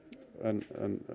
en